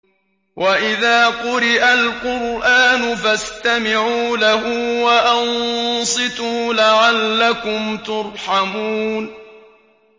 وَإِذَا قُرِئَ الْقُرْآنُ فَاسْتَمِعُوا لَهُ وَأَنصِتُوا لَعَلَّكُمْ تُرْحَمُونَ